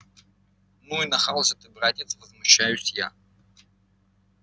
ну и нахал же ты братец возмущаюсь я